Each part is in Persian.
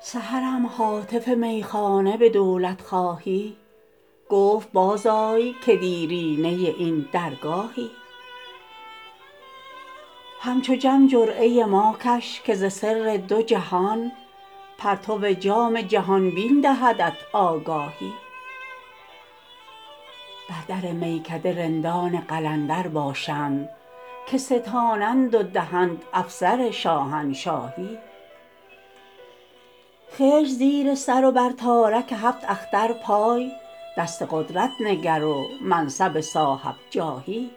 سحرم هاتف میخانه به دولت خواهی گفت باز آی که دیرینه این درگاهی همچو جم جرعه ما کش که ز سر دو جهان پرتو جام جهان بین دهدت آگاهی بر در میکده رندان قلندر باشند که ستانند و دهند افسر شاهنشاهی خشت زیر سر و بر تارک هفت اختر پای دست قدرت نگر و منصب صاحب جاهی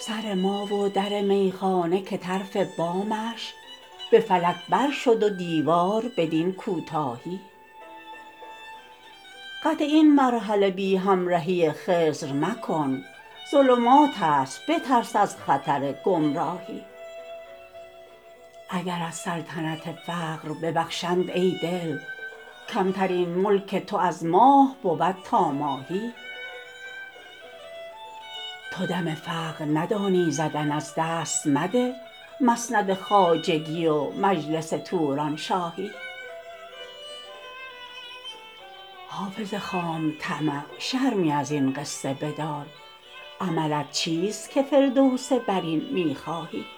سر ما و در میخانه که طرف بامش به فلک بر شد و دیوار بدین کوتاهی قطع این مرحله بی همرهی خضر مکن ظلمات است بترس از خطر گمراهی اگرت سلطنت فقر ببخشند ای دل کمترین ملک تو از ماه بود تا ماهی تو دم فقر ندانی زدن از دست مده مسند خواجگی و مجلس تورانشاهی حافظ خام طمع شرمی از این قصه بدار عملت چیست که فردوس برین می خواهی